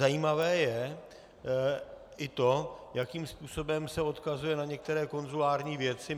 Zajímavé je i to, jakým způsobem se odkazuje na některé konzulární věci.